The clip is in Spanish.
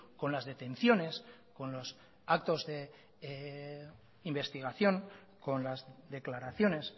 con las detenciones con los actos de investigación con las declaraciones